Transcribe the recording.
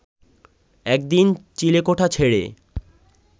একদিন চিলেকোঠা ছেড়ে